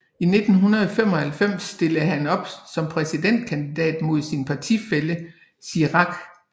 I 1995 stillede han op som præsidentkandidat mod sin partifælle Chirac